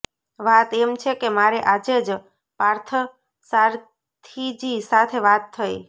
વાત એમ છે કે મારે આજે જ પાર્થસારથીજી સાથે વાત થઇ